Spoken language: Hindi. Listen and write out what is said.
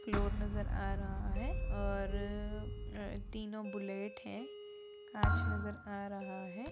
फ्लोर नजर आ रहा है और अ तीनो बुलेट हैं। कांच नजर आ रहा है।